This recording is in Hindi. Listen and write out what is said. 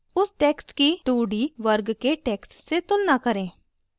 उस text की 2d वर्ग के text से तुलना करें